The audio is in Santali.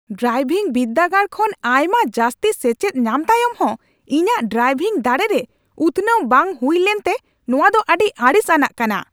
ᱰᱨᱟᱭᱵᱷᱤᱝ ᱵᱤᱨᱫᱟᱹᱜᱟᱲ ᱠᱷᱚᱱ ᱟᱭᱢᱟ ᱡᱟᱹᱥᱛᱤ ᱥᱮᱪᱮᱫ ᱧᱟᱢ ᱛᱟᱭᱚᱢ ᱦᱚᱸ ᱤᱧᱟᱹᱜ ᱰᱨᱟᱭᱵᱷᱤᱝ ᱫᱟᱲᱮ ᱨᱮ ᱩᱛᱱᱟᱹᱣ ᱵᱟᱝ ᱦᱩᱭ ᱞᱮᱱᱛᱮ ᱱᱚᱣᱟ ᱫᱚ ᱟᱹᱰᱤ ᱟᱹᱲᱤᱥ ᱟᱱᱟᱜ ᱠᱟᱱᱟ ᱾